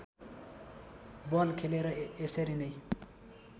बल खेले र यसरी नै